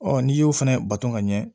Ɔ n'i y'o fana bato ka ɲɛ